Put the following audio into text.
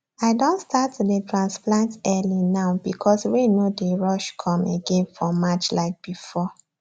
i don start to dey transplant early now because rain no dey rush come again for march like before